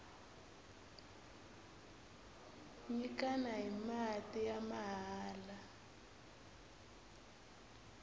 nyikana hi mati ya mahala